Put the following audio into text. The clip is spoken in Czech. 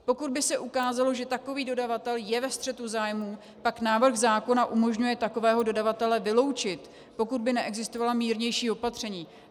Pokud by se ukázalo, že takový dodavatel je ve střetu zájmů, pak návrh zákona umožňuje takového dodavatele vyloučit, pokud by neexistovalo mírnější opatření.